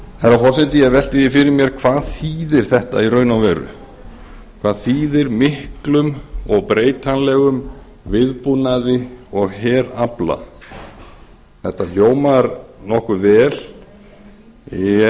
herra forseti ég velti því fyrir mér hvað þýðir þetta í raun og vera hvað þýðir miklum og breytanlegum viðbúnaði og herafla þetta hljómar nokkuð vel